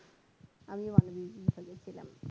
আমিও মানবিক বিভাগই ছিলাম